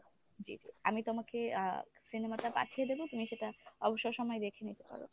জি আমি তোমাকে আহ cinema টা পাঠিয়ে দেব তুমি সেটা অবসর সময়ে দেখে নিতে পারো।